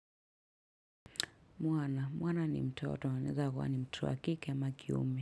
Mwana. Mwana ni mtoto anaweza kuwa ni mtoto wa kike ama kiume.